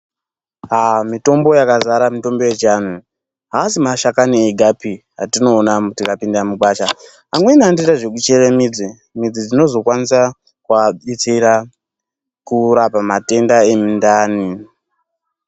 Aa mitombo yakazara mitombo yechiantu haasi mashakani egapi atinoona tikapinda mugwasha. Amweni anotoita zvekuchere midzi, midzi dzinozokwanisa kuabetsera kurapa matenda emundani.